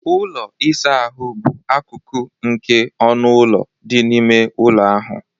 Ụlọ ịsa ahụ bụ akụkụ nke ọnụ ụlọ dị n'ime ụlọ ahụ.